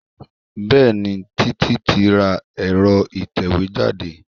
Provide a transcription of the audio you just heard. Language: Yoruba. Bẹẹni, títí tí ra èro ìtẹ̀wẹ́ jáde.